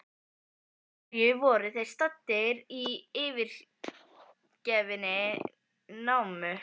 Af hverju voru þeir staddir í yfirgefinni námu?